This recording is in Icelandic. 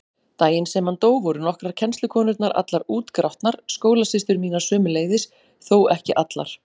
Daginn sem hann dó voru nokkrar kennslukonurnar allar útgrátnar, skólasystur mínar sömuleiðis, þó ekki allar.